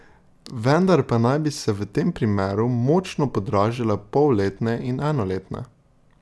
Vendar pa naj bi se v tem primeru močno podražile polletne in enoletne.